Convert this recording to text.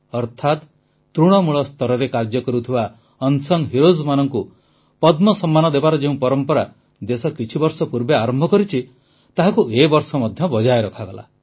ଅର୍ଥାତ ତୃଣମୂଳ ସ୍ତରରେ କାର୍ଯ୍ୟ କରୁଥିବା ଅନସଙ୍ଗ ହିରୋ ମାନଙ୍କୁ ପଦ୍ମ ସମ୍ମାନ ଦେବାର ଯେଉଁ ପରମ୍ପରା ଦେଶ କିଛି ବର୍ଷ ପୂର୍ବେ ଆରମ୍ଭ କରିଛି ତାହାକୁ ଏ ବର୍ଷ ମଧ୍ୟ ବଜାୟ ରଖାଗଲା